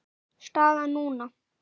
Staðan núna?